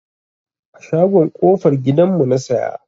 A shagon kofar gidan mu na siya.